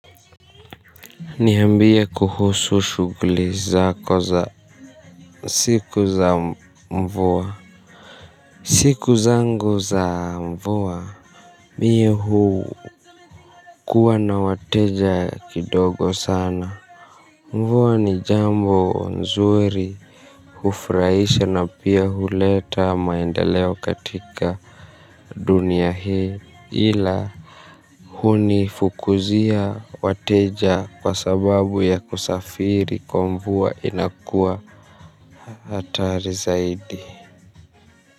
Niyambie kuhusu shughuli zako za siku za mvua. Siku za ngu za mvua Miuhu kuwa na wateja kidogo sana mvua ni jambo nzuri. Hufraisha na pia huleta maenda leo katika dunia hii. Ila huni fukuzia wateja kwa sababu ya kusafiri kwa mvua inakua atari zaidi.